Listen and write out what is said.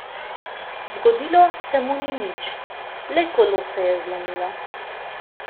Zgodilo se mu ni nič, le kolo se je zlomilo.